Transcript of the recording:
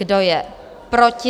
Kdo je proti?